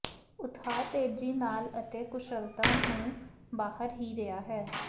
ਉਤਹਾ ਤੇਜ਼ੀ ਨਾਲ ਅਤੇ ਕੁਸ਼ਲਤਾ ਨੂੰ ਬਾਹਰ ਹੀ ਰਿਹਾ ਹੈ